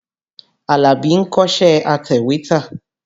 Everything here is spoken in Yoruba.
Àlàbí ń kọ́ṣẹ́ atẹ̀wétà.